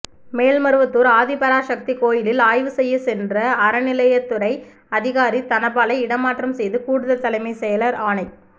மேல்மருவத்தூர் ஆதிபராசக்தி கோயிலில் ஆய்வு செய்ய சென்ற அறநிலையத்துறை அதிகாரி தனபாலை இடமாற்றம் செய்து கூடுதல் தலைமை செயலர் ஆணை